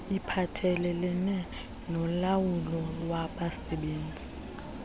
iphathelelene nolawulo lwabasebenzi